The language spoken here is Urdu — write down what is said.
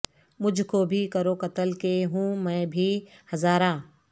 مجھکو بھی کرو قتل کہ ہوں میں بھی ہزارہ